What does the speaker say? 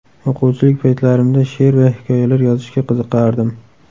O‘quvchilik paytlarimda she’r va hikoyalar yozishga qiziqardim.